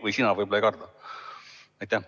Või sina võib-olla ei karda.